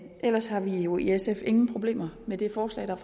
ellers har vi jo i sf ingen problemer med det forslag der